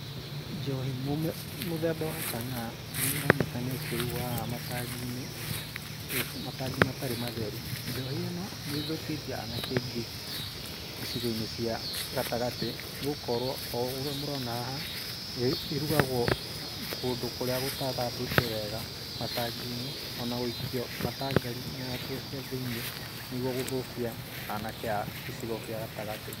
Njohi mũthemba wa chang'aa nĩ ĩronekana ĩkĩrugwo haha matangi-inĩ, matangi matarĩ matheru. Njohi ĩno nĩ ĩthũkĩtie aanake aingĩ icigo-inĩ cia gatagatĩ nĩ gũkorwo o ũguo mũrona haha, ĩrugagwo kũndũ kũrĩa gũtathambĩtio wega, matangi-inĩ o na gũikio matangari na nguo cia thĩiniĩ nĩguo gũthũkia anake a gĩcigo gĩa gatagatĩ.